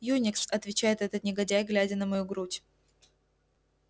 юникс отвечает этот негодяй глядя на мою грудь